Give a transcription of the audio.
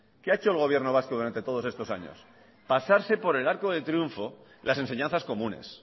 qué ha hecho el gobierno vasco durante todos estos años pasarse por el arco del triunfo las enseñanzas comunes